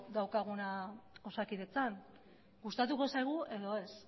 daukaguna egunero osakidetzan gustatuko zaigu edo ez